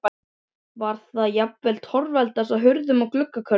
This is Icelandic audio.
Var það að jafnaði torveldast á hurðum og gluggakörmum.